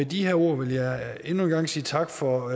de her ord vil jeg endnu en gang sige tak for